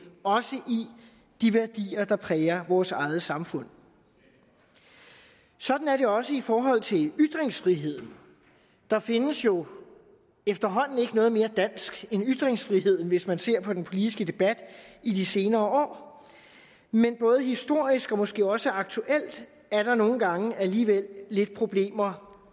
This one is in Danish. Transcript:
også i de værdier der præger vores eget samfund sådan er det også i forhold til ytringsfriheden der findes jo efterhånden ikke noget mere dansk end ytringsfriheden hvis man ser på den politiske debat i de senere år men både historisk og måske også aktuelt er der nogle gange alligevel lidt problemer